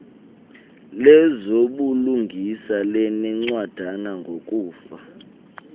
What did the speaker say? lezobulungisa linencwadana ngokufaka